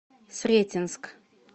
сретенск